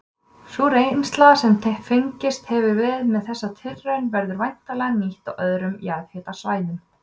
Sú reynsla sem fengist hefur með þessari tilraun verður væntanlega nýtt á öðrum jarðhitasvæðum.